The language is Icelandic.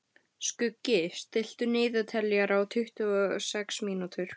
Skuggi, stilltu niðurteljara á tuttugu og sex mínútur.